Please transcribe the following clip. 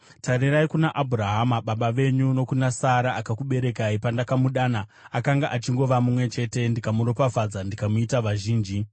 tarirai kuna Abhurahama, baba venyu, nokuna Sara, akakuberekai. Pandakamudana akanga achingova mumwe chete, ndikamuropafadza ndikamuita vazhinji.